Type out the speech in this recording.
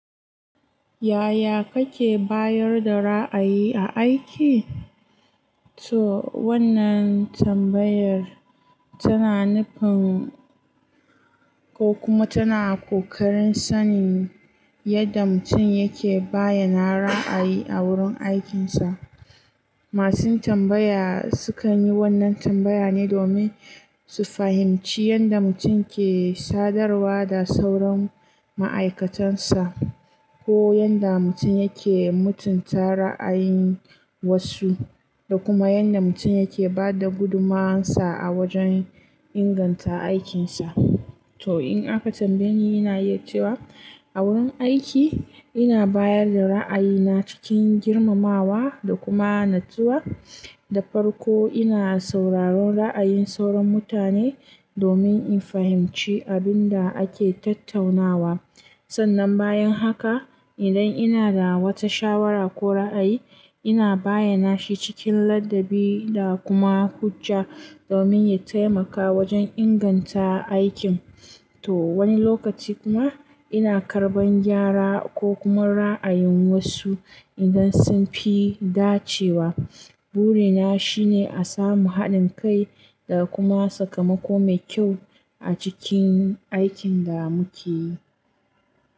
Yaya kake bayar da ra'ayi a aiki? To wannan tambayar tana nufin ko kuma tana ƙoƙarin sanin yadda mutum yake bayyana ra'ayi a wurin aikinsa. Masun tambaya sukan yi wannan tambaya ne domin su fahimci yadda mutum ke sadarwa da sauran ma'aikatansa, ko yadda mutum yake mutunta ra'ayin wasu, da kuma yadda mutum yake ba da gudumuwarsa a wajen inganta aikinsa. To in aka tambaye ni, ina iya cewa a wurin aiki ina bayar da ra'ayina cikin girmamawa da kuma natsuwa. Da farko ina sauraron ra'ayin sauran mutane domin in fahimci abin da ake tattaunawa. Sannan bayan haka, idan ina da wata shawara ko ra'ayi, ina bayyana shi cikin ladabi da kuma hujja domin ya taimaka wajen inganta aikin. To wani lokaci kuma ina karɓan gyara ko kuma ra'ayin wasu idan sun fi dacewa. Burina shine a samu haɗin kai da kuma sakamako mai kyau a cikin aikin da muke yi.